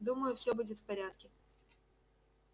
думаю всё будет в порядке